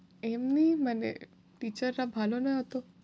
এমনি মানে teacher রা ভালো না অত।